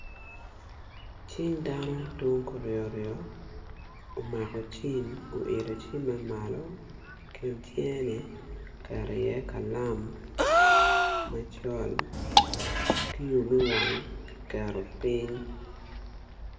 Cing dano tung kuryo ryo omaka cim oilo cimmenmalo I kin kcingeni oketo in I kalam macol kiyo me wang ki keto piny